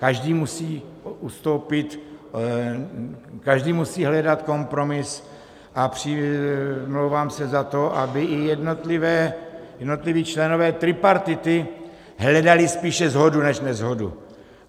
Každý musí ustoupit, každý musí hledat kompromis, a přimlouvám se za to, aby i jednotliví členové tripartity hledali spíše shodu než neshodu.